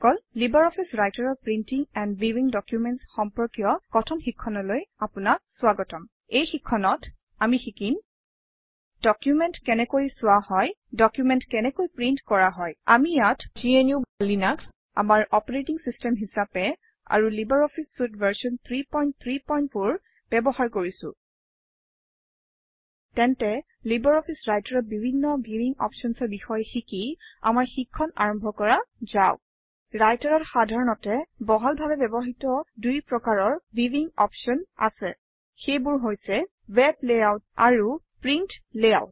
LibreOffice Writer অৰ printing and ভিৱিং documents সম্পৰ্কীয় কথন শিক্ষণলৈ আপোনাক স্বাগতম এই শিক্ষণত আমি শিকিম ডকুমেণ্ট কেনেকৈ চোৱা হয় ডকুমেণ্ট কেনেকৈ প্ৰিণ্ট কৰা হয় আমি ইয়াত gnuলিনাস আমাৰ অপাৰেটিং চিষ্টেম হিচাপে আৰু লাইব্ৰঅফিছ চুইতে ভাৰ্চন 334 ব্যৱহাৰ কৰিছোঁ তেন্তে লাইব্ৰঅফিছ Writer অৰ বিভিন্ন ভিৱিং অপশ্যনৰ বিষয়ে শিকি আমাৰ শিক্ষণ আৰম্ভ কৰা যাওক ৰাইটাৰত সাধাৰণতে বহুলভাৱে ব্যৱহৃত দুই প্ৰকাৰৰ ভিৱিং অপশ্যন আছে সেইবোৰ হৈছে - print layout and web layout